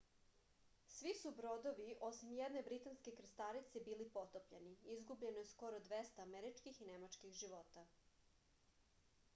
svi su brodovi osim jedne britanske krstarice bili potopljeni izgubljeno je skoro dvesta američkih i nemačkih života